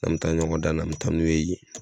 N 'an me taa ɲɔgɔn dan na an me taa n'u ye yen